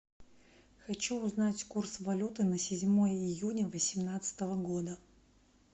хочу узнать курс валюты на седьмое июня восемнадцатого года